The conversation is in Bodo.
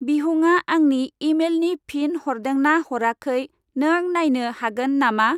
बिहुंआ आंनि इमेइलनि फिन हरदों ना हराखै नों नायनो हागोन नामा?